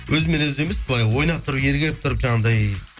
өзімен өзі емес былай ойнап тұрып ерігіп тұрып жаңағындай